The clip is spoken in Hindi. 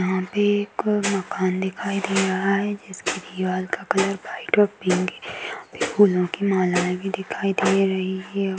यहाँ पे एक मकान दिखाई दे रहा है जिसके दीवाल का कलर व्हाइट और पिंक हैं यहाँ पे फूलों की मालाएं भी दिखाई दे रही हैं।